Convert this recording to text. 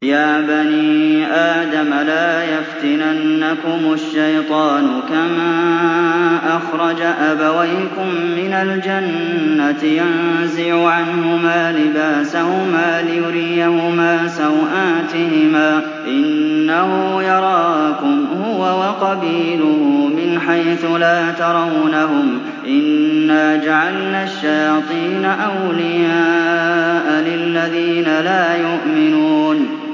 يَا بَنِي آدَمَ لَا يَفْتِنَنَّكُمُ الشَّيْطَانُ كَمَا أَخْرَجَ أَبَوَيْكُم مِّنَ الْجَنَّةِ يَنزِعُ عَنْهُمَا لِبَاسَهُمَا لِيُرِيَهُمَا سَوْآتِهِمَا ۗ إِنَّهُ يَرَاكُمْ هُوَ وَقَبِيلُهُ مِنْ حَيْثُ لَا تَرَوْنَهُمْ ۗ إِنَّا جَعَلْنَا الشَّيَاطِينَ أَوْلِيَاءَ لِلَّذِينَ لَا يُؤْمِنُونَ